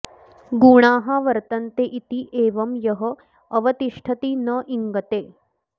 गुणाः वर्तन्ते इति एवम् यः अवतिष्ठति न इङ्गते